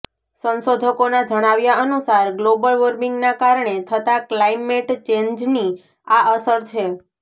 સંશોધકોના જણાવ્યા અનુસાર ગ્લોબલ વોર્મિંગના કારણે થતા ક્લાઇમેટ ચેન્જની આ અસર છે